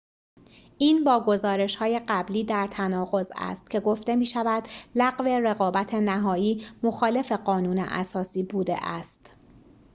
این با گزارش‌های قبلی در تناقض است که گفته می‌شود لغو رقابت نهایی مخالف قانون اساسی بوده است